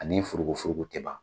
Ani furugufurugu tɛ ban